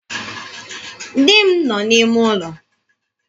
Di m nọ n'ime ụlọ.